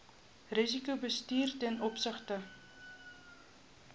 risikobestuur ten opsigte